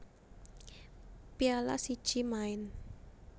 Piala siji maen